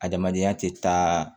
Adamadenya tɛ taa